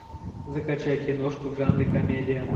закачай киношку в жанре комедия